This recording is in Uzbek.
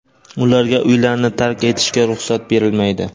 ularga uylarini tark etishga ruxsat berilmaydi.